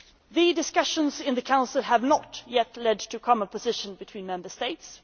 The discussions in the Council have not yet led to a common position between Member States.